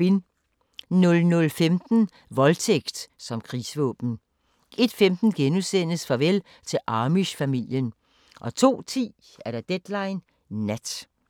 00:15: Voldtægt som krigsvåben 01:15: Farvel til Amish-familien * 02:10: Deadline Nat